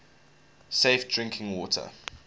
safe drinking water